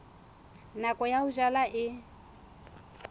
nako ya ho jala e